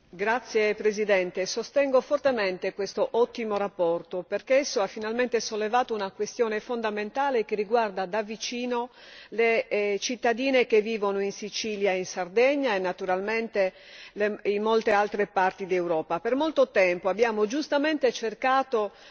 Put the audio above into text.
Signor Presidente, onorevoli colleghi, sostengo fortemente questa ottima relazione perché ha finalmente sollevato una questione fondamentale che riguarda da vicino le cittadine che vivono in Sicilia e in Sardegna e naturalmente in molte altre parti d'Europa. Per molto tempo abbiamo giustamente cercato